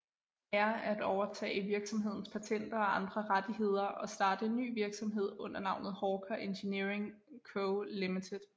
Eyre at overtage virksomhedens patenter og andre rettigheder og starte en ny virksomhed under navnet Hawker Engineering Co Ltd